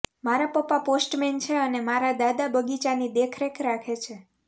મારા પપ્પા પોસ્ટમેન છે અને મારા દાદા બગીચાની દેખરેખ રાખે છે